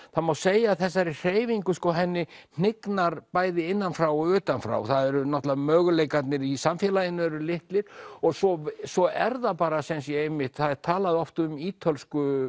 það má segja að þessari hreyfingu henni hnignar bæði innan frá og utan frá náttúrulega möguleikarnir í samfélaginu eru litlir svo svo er það bara einmitt það er talað oft um ítölsku